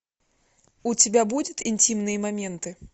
у тебя будет интимные моменты